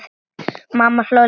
Mamma hló líka.